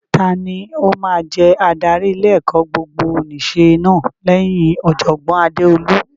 Tani ó máa jẹ adarí ilé-ẹ̀kọ́ gbogbonìṣe náà lẹ́yìn Ọ̀jọ̀gbọ́n Adeolu?